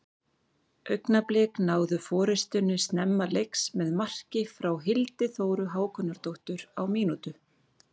Augnablik náðu forystunni snemma leiks með marki frá Hildi Þóru Hákonardóttur á mínútu.